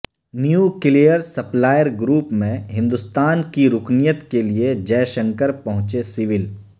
nuclear supplier group میں ہندوستان کی رکنیت کے لئے جے شنکر پہنچے سیول